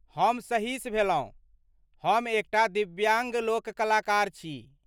हम सहिश भेलहुँ, हम एकटा दिव्याङ्ग लोककलाकार छी।